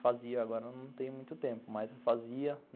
Fazia, agora não tenho muito tempo, mas eu fazia.